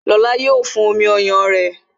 Lóla yo fún omi ọyàn rẹ